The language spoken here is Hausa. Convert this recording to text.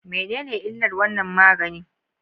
Menene illar wannan magani?